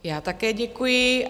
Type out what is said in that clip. Já také děkuji.